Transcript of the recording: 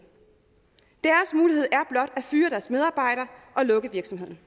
er at fyre deres medarbejdere og lukke virksomheden